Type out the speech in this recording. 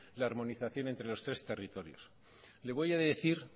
la armonización entre los tres territorios le voy a decir